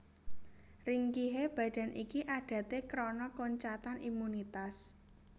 Ringkihe badan iki adaté krana koncatan imunitas